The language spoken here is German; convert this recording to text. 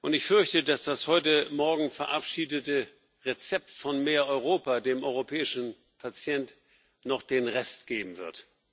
Ich fürchte, dass das heute Morgen verabschiedete Rezept von mehr Europa dem europäischen Patienten noch den Rest geben wird.